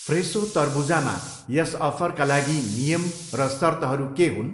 फ्रेसो तरबुजामा यस अफरका लागि नियम र सर्तहरू के हुन्?